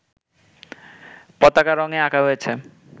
পতাকা রঙে আঁকা হয়েছে